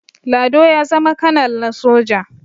lado ya zama kanal na soja